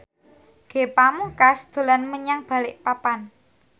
Ge Pamungkas dolan menyang Balikpapan